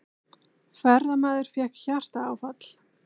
Ferðamaður fékk hjartaáfall